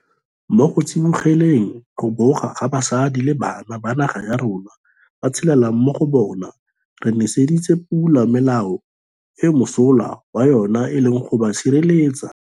Mo go tsibogeleng go boga ga basadi le bana ba naga ya rona ba tshelelang mo go bona re neseditse pula melao eo mosola wa yona e leng go ba sireletsa.